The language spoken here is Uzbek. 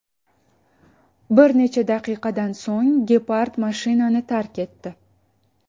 Bir necha daqiqadan so‘ng gepard mashinani tark etdi.